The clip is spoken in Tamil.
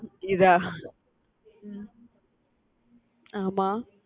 இதா உம் ஆமா